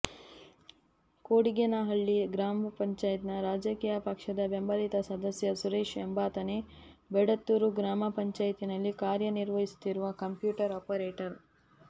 ಕೊಡಿಗೇನಹಳ್ಳಿ ಗ್ರಾಪಂನ ರಾಜಕೀಯ ಪಕ್ಷದ ಬೆಂಬಲಿತ ಸದಸ್ಯ ಸುರೇಶ್ ಎಂಬಾತನೇ ಬೇಡತ್ತೂರು ಗ್ರಾಮ ಪಂಚಾಯಿತಿನಲ್ಲಿ ಕಾರ್ಯ ನಿರ್ವಹಿಸುತ್ತಿರುವ ಕಂಪ್ಯೂಟರ್ ಆಪರೇಟರ್